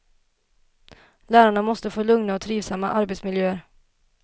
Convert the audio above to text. Lärarna måste få lugna och trivsamma arbetsmiljöer.